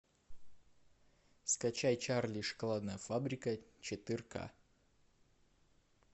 скачай чарли и шоколадная фабрика четырка